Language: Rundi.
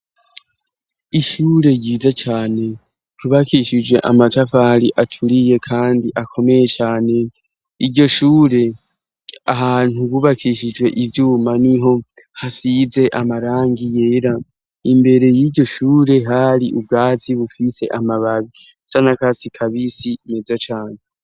Ishure ryiza cane tubakishijwe amacafari aturiye, kandi akomeye cane iryo shure ahantu bubakishijwe ivyuma ni ho hasize amarangi yera imbere y'iryo shure hari ubwazi bufise amababi ca na kasi kabisa si meza cane.